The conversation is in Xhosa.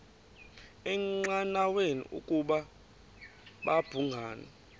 engqanweni ukuba babhungani